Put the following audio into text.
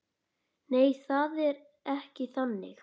Nei, það er ekki þannig.